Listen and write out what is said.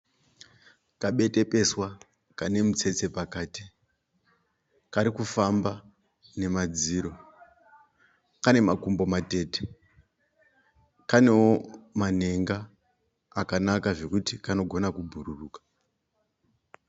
Kabetepeswa kane mutsetse pakati kari kufamba namadziro. Kane makumbo matete. Kanewo manhenga akanaka zvokuti kanogona kubhururuka.